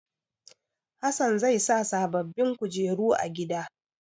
Hassan zai sa sababbin kujeru a gida.